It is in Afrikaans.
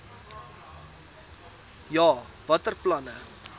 ja watter planne